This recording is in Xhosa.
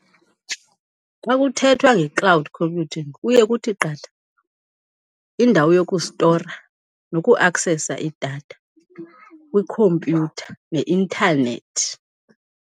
Kwakuthethwa nge-cloud computing kuye kuthi qatha indawo yokustora nokuaksesa idatha kwikhompyutha neintanethi.